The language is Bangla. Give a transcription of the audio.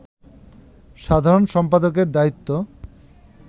সাধারণ সম্পাদকের দায়িত্ব